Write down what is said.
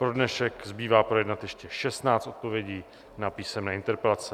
Pro dnešek zbývá projednat ještě 16 odpovědí na písemné interpelace.